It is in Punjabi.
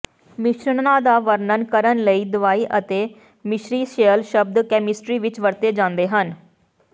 ਮਿਸ਼ਰਣਾਂ ਦਾ ਵਰਣਨ ਕਰਨ ਲਈ ਦਵਾਈ ਅਤੇ ਮਿਸਰੀਸ਼ੀਅਲ ਸ਼ਬਦ ਕੈਮਿਸਟਰੀ ਵਿਚ ਵਰਤੇ ਜਾਂਦੇ ਹਨ